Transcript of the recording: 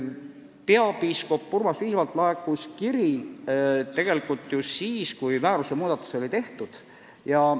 " Peapiiskop Urmas Viilmalt laekus kiri siis, kui määruse muudatus oli tehtud.